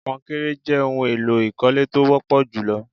Konkéré jé ohun èlò ìkọ́lé tó wọ́pọ̀ jù lọ.